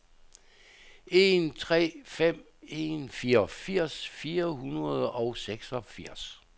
en tre fem en fireogfirs fire hundrede og seksogfirs